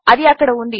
అది ఇక్కడ ఉంది